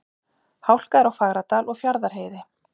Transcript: Hálka er á Fagradal og Fjarðarheiði